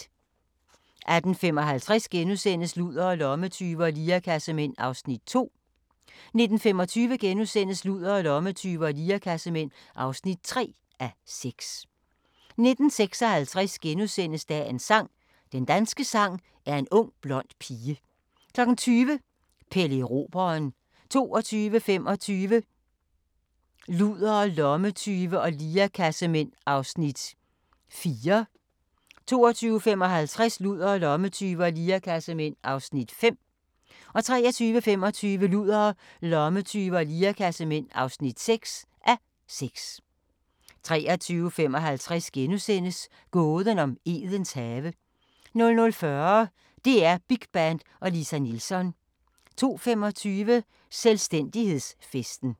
18:55: Ludere, lommetyve og lirekassemænd (2:6)* 19:25: Ludere, lommetyve og lirekassemænd (3:6)* 19:56: Dagens sang: Den danske sang er en ung blond pige * 20:00: Pelle Erobreren 22:25: Ludere, lommetyve og lirekassemænd (4:6) 22:55: Ludere, lommetyve og lirekassemænd (5:6) 23:25: Ludere, lommetyve og lirekassemænd (6:6) 23:55: Gåden om Edens have * 00:40: DR Big Band og Lisa Nilsson 02:25: Selvstændighedsfesten